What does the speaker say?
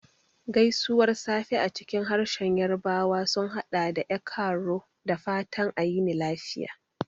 Gaisuwar safe a cikin harshen Yarbawa sun haɗa da "E kaaro," da fatan a yini lafiya.